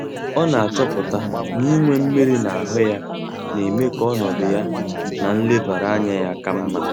Ọ na-achọpụta na inwe mmiri na ahụ ya, na-eme ka ọnọdụ ya na nlebara anya ya ka mma.